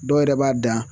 Dɔw yɛrɛ b'a dan